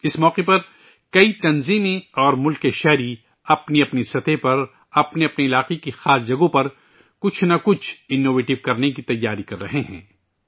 اس موقع پر کئی تنظیمیں اور اہل وطن نے اپنی اپنی سطح پر اپنے اپنے علاقو ں کی خاص جگہوں پر کچھ نہ کچھ انوویٹیو کرنے کی تیاری کررہے ہیں